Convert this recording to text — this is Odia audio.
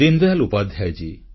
ଦୀନଦୟାଲ ଉପାଧ୍ୟାୟ